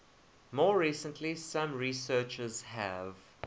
more recently some researchers have